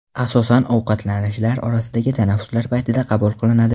Asosan ovqatlanishlar orasidagi tanaffuslar paytida qabul qilinadi.